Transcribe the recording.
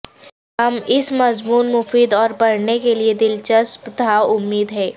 ہم اس مضمون مفید اور پڑھنے کے لئے دلچسپ تھا امید ہے